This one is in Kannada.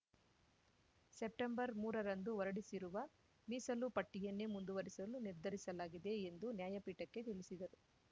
ಸೆಪ್ಟೆಂಬರ್ಮೂರರಂದು ಹೊರಡಿಸಿರುವ ಮೀಸಲು ಪಟ್ಟಿಯನ್ನೇ ಮುಂದುವರಿಸಲು ನಿರ್ಧರಿಸಲಾಗಿದೆ ಎಂದು ನ್ಯಾಯಪೀಠಕ್ಕೆ ತಿಳಿಸಿದರು